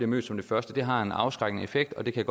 møder som det første det har en afskrækkende effekt og det kan